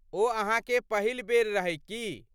ओ अहाँके पहिल बेर रहै की?